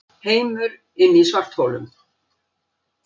Heimur inni í svartholum